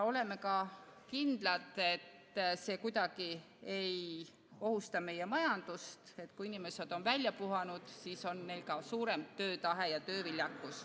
Oleme kindlad, et see kuidagi ei ohusta meie majandust: kui inimesed on välja puhanud, siis on neil ka suurem töötahe ja tööviljakus.